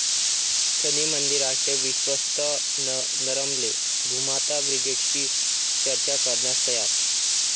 शनी मंदिराचे विश्वस्त नरमले, 'भूमाता ब्रिगेड'शी चर्चा करण्यास तयार